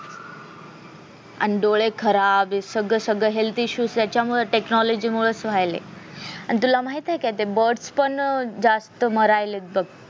आणि डोळे खराब सगळं सगळं health issues त्याच्यामुळं technology मूळच व्हायलेय आणि तुला माहितेय का ते birds पण बघ जास्त मरायलेत बघ